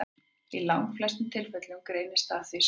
Í langflestum tilfellum greinist það því seint.